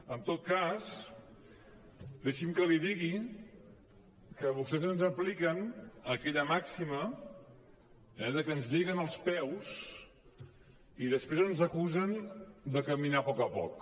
en tot cas deixi’m que li digui que vostès ens apliquen aquella màxima que ens lliguen els peus i després ens acusen de caminar a poc a poc